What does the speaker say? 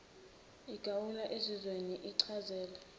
igawulwa ezizweni sichazele